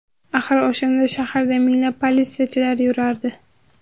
Axir o‘shanda shaharda minglab politsiyachilar yurardi.